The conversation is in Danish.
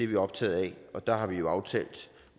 vi optagede af der har vi jo aftalt